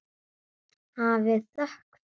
Hafið þökk fyrir.